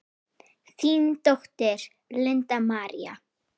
Þín dóttir, Linda María.